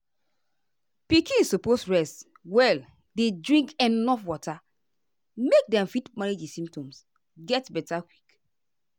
pikin suppose rest well dey drink enuf water make dem fit manage di symptoms get beta quick.